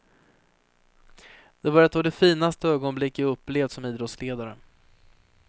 Det var ett av de finaste ögonblick jag upplevt som idrottsledare.